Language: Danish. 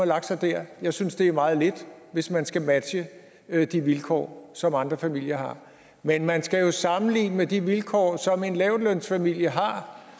lagt sig der jeg synes det er meget lidt hvis man skal matche de vilkår som andre familier har men man skal sammenligne med de vilkår som en lavtlønsfamilie har